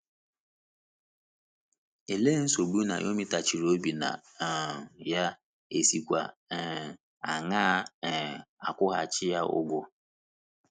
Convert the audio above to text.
Olee nsogbu Naomi tachiri obi na um ya, è sikwa um aṅaa um kwụghachi ya ụgwọ?